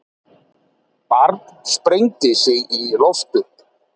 Barn sprengdi sig í loft upp